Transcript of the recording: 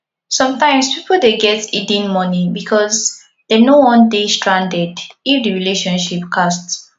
sometimes pipo dey get hidden money because dem no wan dey stranded if di relationship cast